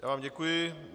Já vám děkuji.